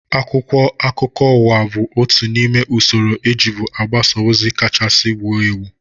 Akwụkwọ akụkọ ụwa bụ otu n'ime usoro ejibu agbasa ozi kachasị wuo ewu